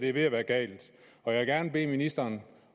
er ved at være gal og jeg vil gerne bede ministeren